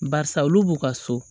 Barisa olu b'u ka so